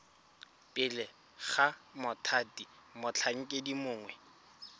pele ga mothati motlhankedi mongwe